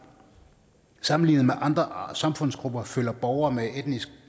sammenlignet med andre samfundsgrupper føler borgere med etnisk